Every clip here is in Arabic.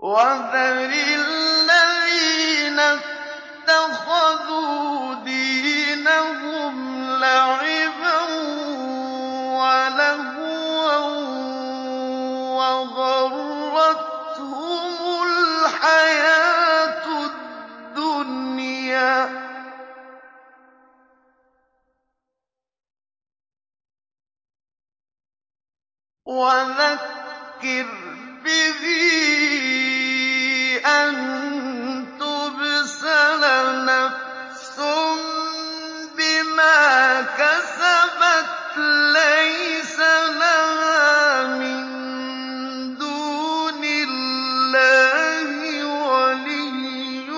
وَذَرِ الَّذِينَ اتَّخَذُوا دِينَهُمْ لَعِبًا وَلَهْوًا وَغَرَّتْهُمُ الْحَيَاةُ الدُّنْيَا ۚ وَذَكِّرْ بِهِ أَن تُبْسَلَ نَفْسٌ بِمَا كَسَبَتْ لَيْسَ لَهَا مِن دُونِ اللَّهِ وَلِيٌّ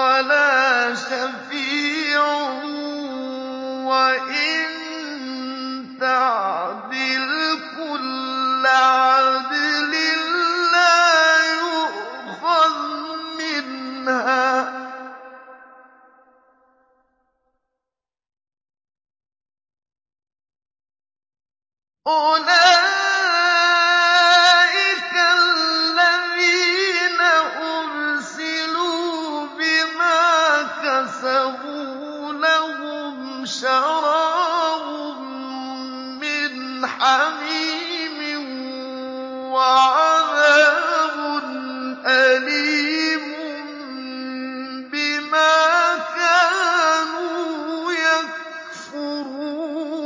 وَلَا شَفِيعٌ وَإِن تَعْدِلْ كُلَّ عَدْلٍ لَّا يُؤْخَذْ مِنْهَا ۗ أُولَٰئِكَ الَّذِينَ أُبْسِلُوا بِمَا كَسَبُوا ۖ لَهُمْ شَرَابٌ مِّنْ حَمِيمٍ وَعَذَابٌ أَلِيمٌ بِمَا كَانُوا يَكْفُرُونَ